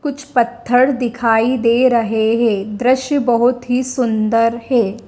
कुछ पत्थर दिखाई दे रहे हैं। दृश्य बहुत ही सुंदर है।